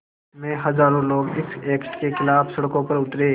में हज़ारों लोग इस एक्ट के ख़िलाफ़ सड़कों पर उतरे